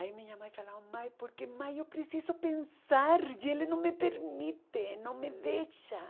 Aí minha mãe falou, mãe, porque mãe, eu preciso pensar e ele não me permite, não me deixa.